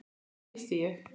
Þarna gisti ég.